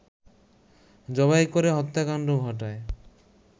জবাই করে হত্যাকাণ্ড ঘটায়